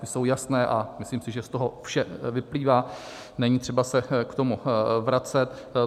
Ty jsou jasné a myslím si, že z toho vše vyplývá, není třeba se k tomu vracet.